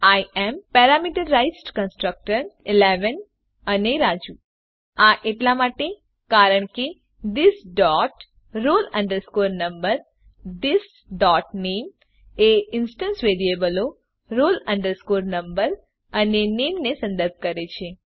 I am parameterised constructor ૧૧ અને રાજુ આ એટલા માટે કારણ કે થિસ ડોટ roll number અને થિસ ડોટ નામે એ ઇન્સ્ટંસ વેરીએબલો roll number અને નામે ને સંદર્ભ કરે છે